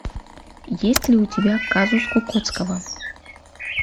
есть ли у тебя казус кукоцкого